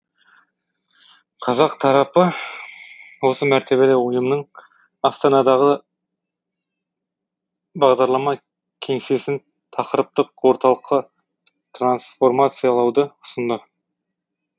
қазақ тарапы осы мәртебелі ұйымның астанадағы бағдарлама кеңсесін тақырыптық орталыққа трансформациялауды ұсынды